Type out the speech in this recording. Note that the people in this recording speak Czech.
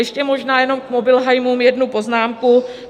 Ještě možná jenom k mobilheimům jednu poznámku.